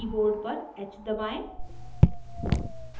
keyboard पर h दबाएं